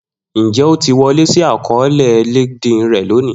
Njẹ o ti wọle si akọọlẹ Linkdln rẹ loni?